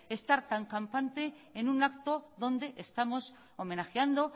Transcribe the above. estar tan campante en un acto donde estamos homenajeando